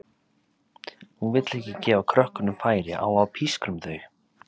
Hún vill ekki gefa krökkunum færi á að pískra um þau.